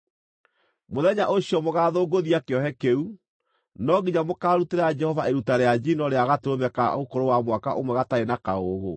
Mũthenya ũcio mũgaathũngũthia kĩohe kĩu, no nginya mũkaarutĩra Jehova iruta rĩa njino rĩa gatũrũme ka ũkũrũ wa mwaka ũmwe gatarĩ na kaũũgũ,